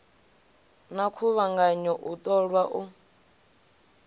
na khuvhanganyo u ṱolwa u